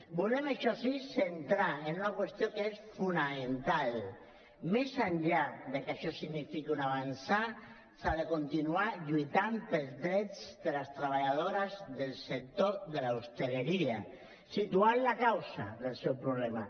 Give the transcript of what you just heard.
volem això sí centrar en una qüestió que és fonamental més enllà que això signifiqui un avançar s’ha de continuar lluitant pels drets de les treballadores del sector de l’hostaleria situant la causa del seu problema